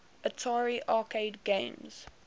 atari arcade games